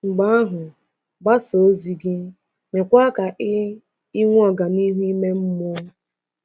Mgbe ahụ gbasaa ozi gị, meekwa ka i i nwee ọganihu ime mmụọ.